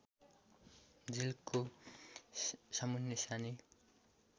झिल्को सामुन्ने सानी